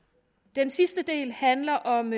den sidste del handler om